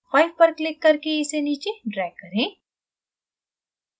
5 पर click करके इसे नीचे drag करें